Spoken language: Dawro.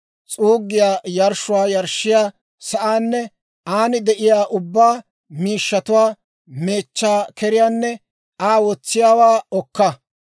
s'uuggiyaa yarshshuwaa yarshshiyaa sa'aanne an de'iyaa ubbaa miishshatuwaa, meechchaa keriyaanne Aa wotsiyaawaa okka.